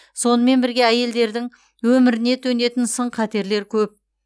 сонымен бірге әйелдердің өміріне төнетін сын қатерлер көп